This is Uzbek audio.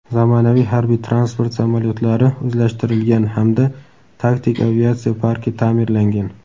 zamonaviy harbiy-transport samolyotlari o‘zlashtirilgan hamda taktik aviatsiya parki ta’mirlangan.